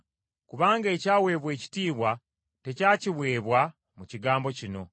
Kubanga ekyaweebwa ekitiibwa tekyakiweebwa mu kigambo kino.